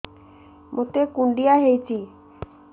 ମୋତେ କୁଣ୍ଡିଆ ହେଇଚି